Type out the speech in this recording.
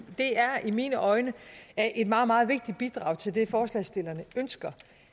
det er i mine øjne et meget meget vigtigt bidrag til det forslagsstillerne ønsker